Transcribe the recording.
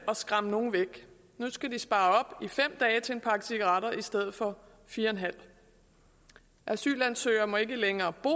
og skræmme nogle væk nu skal de spare op i fem dage til en pakke cigaretter i stedet for fire en halv asylansøgere må ikke længere bo